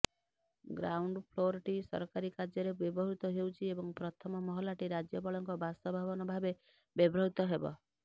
ଗ୍ରାଉଣ୍ଡଫ୍ଲୋରଟି ସରକାରୀ କାର୍ଯ୍ୟରେ ବ୍ୟବହୃତ ହେଉଛି ଏବଂ ପ୍ରଥମ ମହଲାଟି ରାଜ୍ୟପାଳଙ୍କ ବାସଭବନ ଭାବେ ବ୍ୟବହୃତ ହେବ